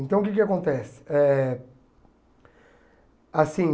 Então, o que que acontece? Eh assim